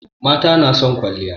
Mata na son kwalliya.